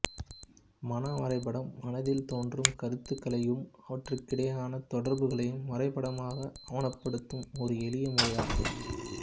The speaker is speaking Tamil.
மன வரைபடம் மனத்தில் தோன்றும் கருத்துக்களையும் அவற்றுக்கிடையேயான தொடர்புகளையும் வரைபடமாக ஆவணப்படுத்தும் ஒரு எளிய முறை ஆகும்